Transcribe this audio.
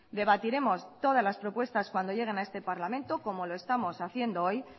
debatiremos todas las propuestas cuando lleguen a este parlamento como lo estamos haciendo hoy